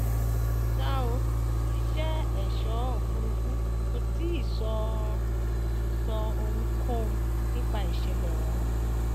ṣá ò iléeṣẹ èso òfúrufú kò tí ì sọ ì sọ ohunkóhun nípa ìṣẹlẹ ọhún